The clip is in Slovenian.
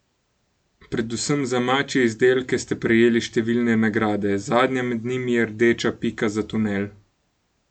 Predvsem za mačje izdelke ste prejeli številne nagrade, zadnja med njimi je rdeča pika za Tunel.